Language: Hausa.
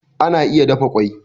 Ana iya dafa kwai